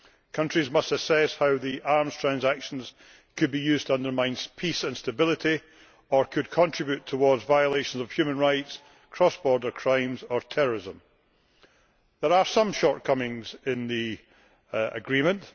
Countries must assess how the arms transactions could be used to undermine peace and stability or could contribute towards violations of human rights, cross border crimes or terrorism. There are some shortcomings in the agreement.